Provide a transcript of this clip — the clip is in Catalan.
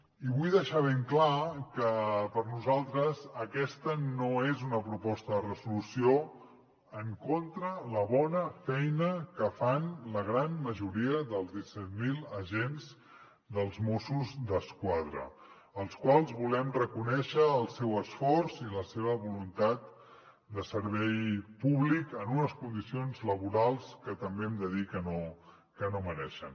i vull deixar ben clar que per nosaltres aquesta no és una proposta de resolució en contra de la bona feina que fan la gran majoria dels disset mil agents dels mossos d’esquadra als quals volem reconèixer el seu esforç i la seva voluntat de servei públic en unes condicions laborals que també hem de dir que no mereixen